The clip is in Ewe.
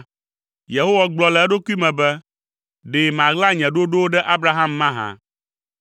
Yehowa gblɔ le eɖokui me be, “Ɖe maɣla nye ɖoɖowo ɖe Abraham mahã?